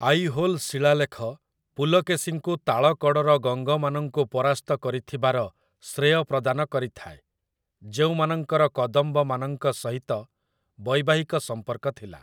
ଆଇହୋଲ ଶିଳାଲେଖ ପୁଲକେଶିଙ୍କୁ ତାଳକଡ଼ର ଗଙ୍ଗମାନଙ୍କୁ ପରାସ୍ତ କରିଥିବାର ଶ୍ରେୟ ପ୍ରଦାନ କରିଥାଏ, ଯେଉଁମାନଙ୍କର କଦମ୍ବମାନଙ୍କ ସହିତ ବୈବାହିକ ସମ୍ପର୍କ ଥିଲା ।